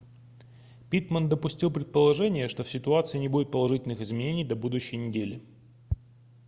питтман допустил предположение что в ситуации не будет положительных изменений до будущей неделе